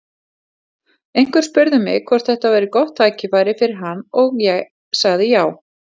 Einhver spurði mig hvort þetta væri gott tækifæri fyrir hann og ég sagði já.